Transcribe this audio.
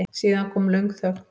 Síðan kom löng þögn.